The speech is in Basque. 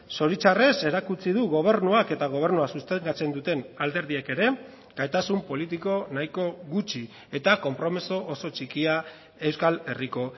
zoritzarrez erakutsi du gobernuak eta gobernua sustengatzen duten alderdiek ere gaitasun politiko nahiko gutxi eta konpromiso oso txikia euskal herriko